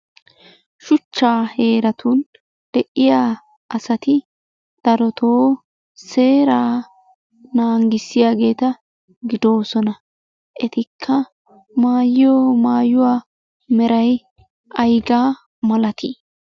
Shuchca heeratun de'iya asati darotoo seeraa nangissiyaageeta gidoosona. Etikka maayyiyo maayuwa meray ayigga malati?